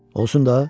Olsun da.